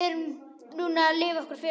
Við erum núna að lifa okkar fegursta.